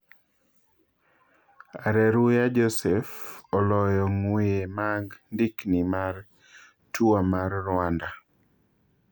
Areruya Joseph oloyo ng'weye mag ndikni mar Tour mar Rwanda.